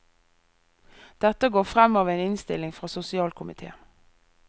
Dette går frem av en innstilling fra sosialkomitéen.